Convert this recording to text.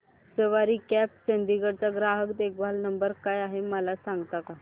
सवारी cabs Chandigarh चा ग्राहक देखभाल नंबर काय आहे मला सांगता का